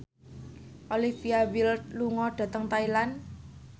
Olivia Wilde lunga dhateng Thailand